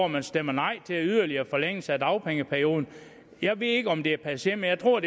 man stemmer nej til en yderligere forlængelse af dagpengeperioden jeg ved ikke om det er passé men jeg tror